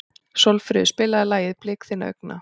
Sólfríður, spilaðu lagið „Blik þinna augna“.